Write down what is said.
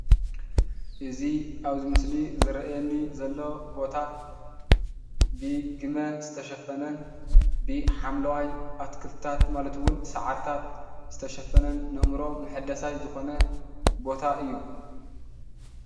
እዚ ኣብዚ ምስሊ ዝረአየኒ ዘሎ ቦታ ብግመ ዝተሸፈነን ብሓምለዋይ ኣትክልትታት ማለት እውን ብሳዕሪታት ዝተሸፈነን ንኣእምሮ መሕደሳይ ዝኮነ ቦታ እዩ።